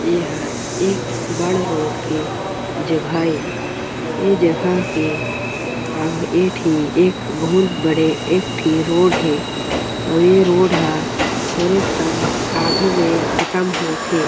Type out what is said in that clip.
एहर एक रोड के जगह ए ए जगह के आघू ए ठी एक बहुत बड़े एक ठी रोड हे अउ रोड ह थोड़े कन आघू म ख़त्म होत हे।